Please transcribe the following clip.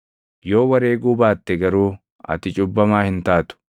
Yoo wareeguu baatte garuu ati cubbamaa hin taatu.